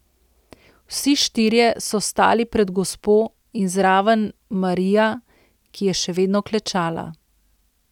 Vsi štirje so stali pred gospo in zraven Marija, ki je še vedno klečala.